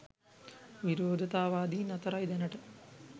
විරෝධතාවාදීන් අතරයි දැනට